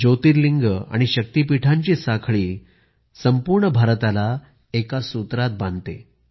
ज्योतिर्लिंग आणि शक्तिपीठांची साखळी भारताला एका सूत्रात बांधते